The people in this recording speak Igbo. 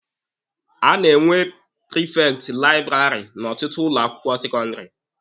A na-enwe prifekti laịbụrarị n'ọtụtụ ụlọ akwụkwọ sekọndịrị.